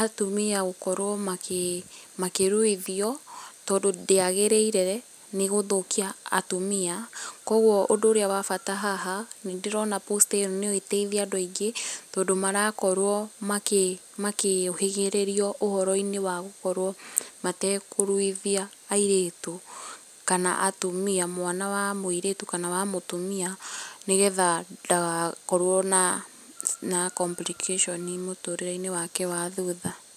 atumia gũkorwo makĩruithio, tondũ ndĩagĩrĩire nĩ gũthũkia atumia, kũguo ũndũ ũrĩa wa bata haha, nĩ ndĩrona poster ĩyo no ĩteithie andũ aingĩ, tondũ marakorwo makĩũhĩgĩrĩrio ũhoro-inĩ wa gũkorwo matekũruithia airĩtu kana atumia, mwana wa mũirĩtu kana wa mũtumia, nĩgetha ndagakorwo na complications mũtũrĩre-inĩ wake wa thutha.